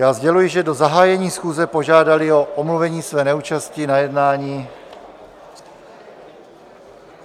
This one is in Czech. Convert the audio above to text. Já sděluji, že do zahájení schůze požádali o omluvení své neúčasti na jednání...